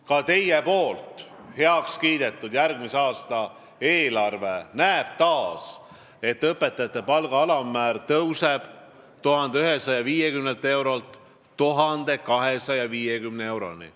Ka teie heakskiidetud järgmise aasta eelarve alusel tõuseb õpetajate palga alammäär 1150 eurolt 1250 euroni.